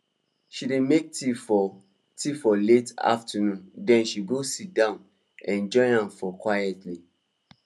she dey make tea for tea for late afternoon then she go sit down enjoy am for quietly